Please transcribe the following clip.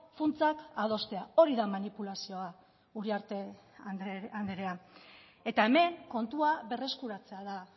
funtsak adostea hori da manipulazioa uriarte andrea eta hemen kontua berreskuratzea da